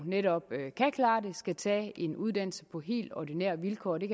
netop kan klare det skal tage en uddannelse på helt ordinære vilkår den